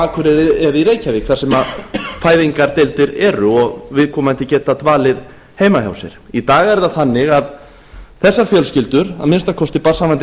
akureyri og í reykjavík þar sem fæðingardeildir eru og viðkomandi geta dvalið heima hjá sér í dag er það þannig að þessar fjölskyldur að minnsta kosti barnshafandi